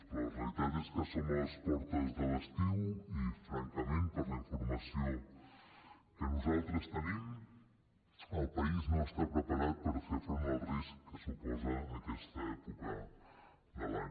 però la realitat és que som a les portes de l’estiu i francament per la informació que nosaltres tenim el país no està preparat per fer front al risc que suposa aquesta època de l’any